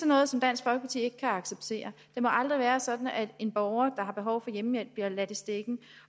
noget som dansk folkeparti ikke kan acceptere det må aldrig være sådan at en borger der har behov for hjemmehjælp bliver ladt i stikken